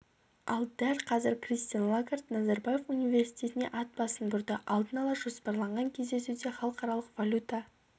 ал дәл қазір кристин лагард назарбаев университетіне ат басын бұрды алдын ала жоспарланған кездесуде халықаралық валюта